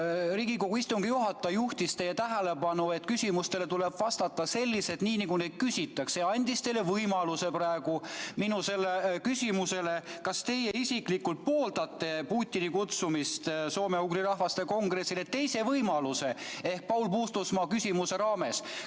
Riigikogu istungi juhataja juhtis teie tähelepanu sellele, et küsimustele tuleb vastata selliselt, nagu neid küsitakse, ja andis teile võimaluse praegu vastata minu küsimusele, kas teie isiklikult pooldate Putini kutsumist soome-ugri rahvaste kongressile, ehk teise võimaluse Paul Puustusmaa küsimuse raames.